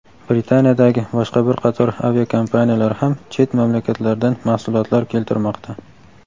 Britaniyadagi boshqa bir qator aviakompaniyalar ham chet mamlakatlardan mahsulotlar keltirmoqda.